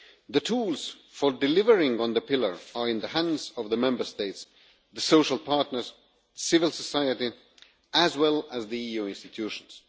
The tools for delivering on the pillar are in the hands of the Member States, the social partners, civil society and the EU institutions.